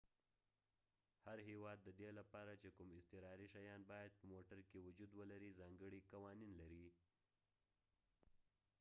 هر هیواد ددې لپاره چي کوم اضطراري شیان باید په موټر کې وجود ولري ځانګړي قوانین لري